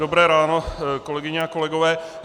Dobré ráno, kolegyně a kolegové.